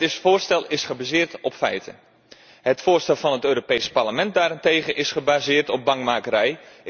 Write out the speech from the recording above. Het voorstel is gebaseerd op feiten. Het voorstel van het Europees Parlement daarentegen is gebaseerd op bangmakerij.